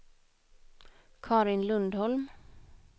Carin Lundholm